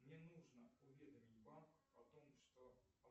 мне нужно уведомить банк о том что